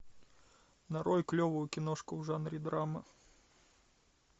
нарой клевую киношку в жанре драма